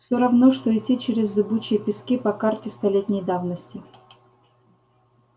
все равно что идти через зыбучие пески по карте столетней давности